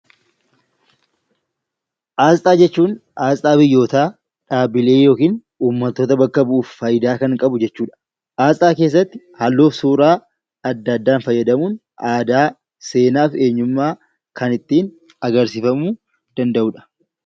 Asxaa jechuun asxaa biyyootaa, dhaabbilee yookiin uumattoota bakka bu'uuf faayidaa kan qabu jechuudha, aasxaa keessatti halluu fi suuraa adda addaa fayyadamuun adaa, seenaa fi eenyummaa kan ittiin agarsiifamuu danda'u dha.